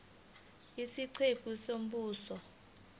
isiqephu c umbuzo